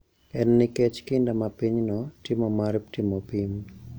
En nikech kinda ma pinyno timo mar timo pim.